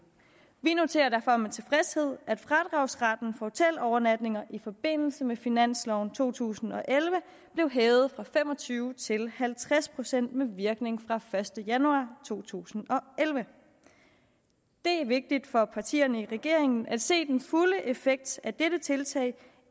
vi noterer derfor med tilfredshed at fradragsretten hotelovernatninger i forbindelse med finansloven to tusind og elleve blev hævet fra fem og tyve procent til halvtreds procent med virkning fra den første januar to tusind og elleve det er vigtigt for partierne i regeringen at se den fulde effekt af dette tiltag